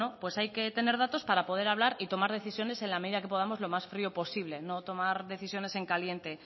hay que tener datos para poder hablar y tomar decisiones en la medida que podamos lo más frío posible no tomar decisiones en caliente